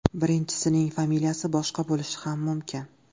Birinchisining familiyasi boshqa bo‘lishi ham mumkin.